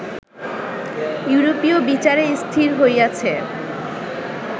ইউরোপীয় বিচারে স্থির হইয়াছে